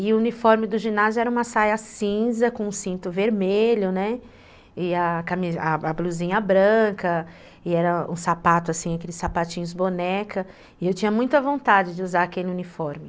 E o uniforme do ginásio era uma saia cinza com cinto vermelho, né, e a e a blusinha branca, e era um sapato assim, aqueles sapatinhos boneca, né, e eu tinha muita vontade de usar aquele uniforme.